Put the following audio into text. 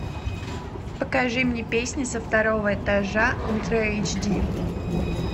покажи мне песни со второго этажа ультра эйч ди